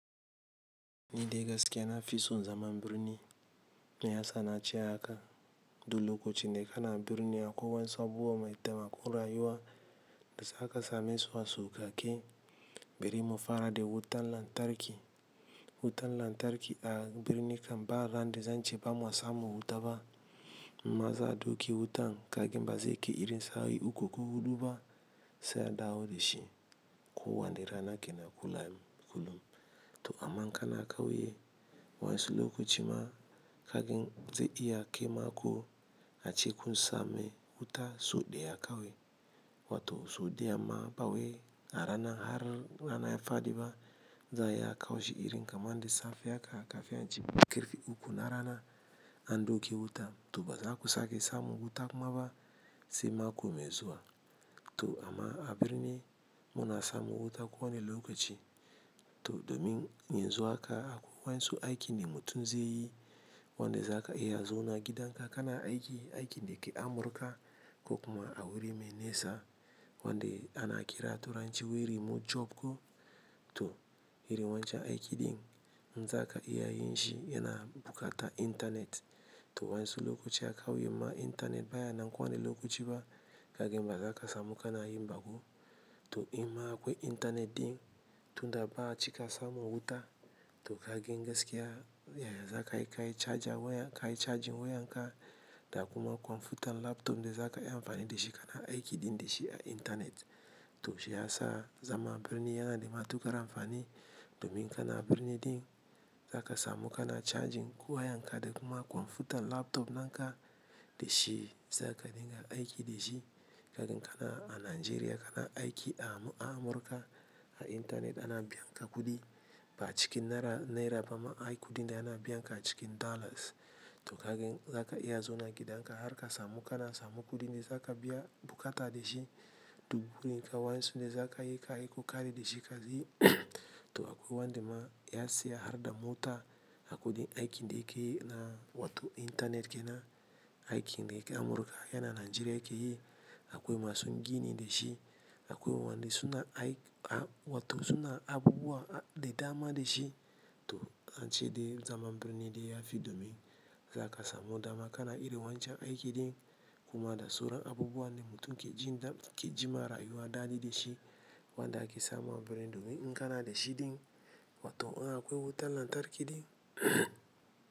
Ni dai gaskiya na fison zaman birni me ya sanace haka, dulo ka ci da kana birni akwai wan'insu abubuwa mai dama ko rayuwa da za ka same su a sauka ke bari mufara da wutan lantarki. Wutan lantarki a birni kan ba ran da zan ce bamu samun wuta ba, maza doki wutan kagan bazai ke irin sawo'i ukuko huɗuba sai a dawo da shi. Ko wane rana ke na kula m-kulum. To amma in kana kauye wa 'yansu lokaci ma kagan zai iya ke mako a ce kun same wuta so ɗaya akawi. Wato so ɗaya ma ba we a rana har rana ya faɗi ba za ya kawo shi irin kamar da safe haka kafi an ci birkarfe uku na rana andoke wuta. To baza ku sake samu wuta kuma ba sai mako mai zuwa. To amma a birni muna samu wuta ko wane lokaci. To domin yin zuwa ka akwai wansu aiki ne mutum zai yi wanda za ka iya zo na gidan ka kana aiki, aiki da ke Amurka ko kuma a wuri mai nesa wanda ana ƙira turanci remote job ko. To irin wancan aiki ɗin, in za ka iya yin shi yana bukata intanet. To wa'insu lokaci akawi ma intanet baya nan ko wane lokaci ba kagan baza ka samu kana yin ba ko. To in ma akwai intanet ɗin, tunda ba a cika samu wuta to kagan gaski ya-ya za ka yi kai charging wayan ka da kuma kwamfutan laptop da za ka iya amfani da shi kana aiki din da shi a intanet. To shi ya sa zaman birni yana da matuƙar amfani domin kana birni din za ka samu kana charging wayan ka da kuma kwamfutan laptop nan ka da shi za ka dinga aiki da shi kagan kana a Najeriya kana aiki a Amurka, a intanet ana biyan ka kuɗi. Ba cikin Naira-Naira ba ma, ai kuɗin da ana biyan ka cikin Dollars. To kagan za ka iya zo na gidan ka har ka samu kana samu kuɗin da za ka biya bukata da shi. Dubu rin kawansu da za ka iya kai kokari da shi ka yi. To akwai wanda ma ya siya har dama wuta, akwai din aiki da yake yi na wato intanet ke na aiki da yake Amurka yana Najeriya yake yi. Akwai masu gini da shi, akwai waɗanda suna ai-a wato suna abubuwa a da dama da shi. To ance dai zaman birni dai yafi domin za ka samu dama kana irin wancan aiki din kuma da sauran abubuwa ne mutum ke ji da ke jima rayuwa daɗi da shi. Wanda ake sama birni domin in kana da shi din wato in akwai wutan lantarki din.